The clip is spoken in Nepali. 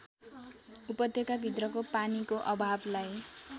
उपत्यकाभित्रको पानीको अभावलाई